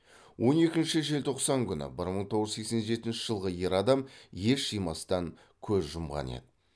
он екінші желтоқсан күні бір мың тоғыз жүз сексен жетінші жылғы ер адам ес жимастан көз жұмған еді